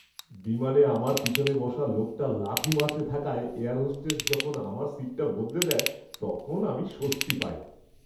বিমানে আমার পিছনে বসা লোকটা লাথি মারতে থাকায় এয়ার হোস্টেস যখন আমার সিটটা বদলে দেয় তখন আমি স্বস্তি পাই।